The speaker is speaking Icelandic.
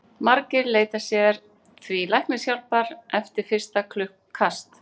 Margir leita sér því læknishjálpar eftir fyrsta kast.